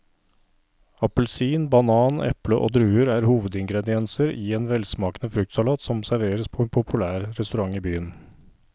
Appelsin, banan, eple og druer er hovedingredienser i en velsmakende fruktsalat som serveres på en populær restaurant i byen.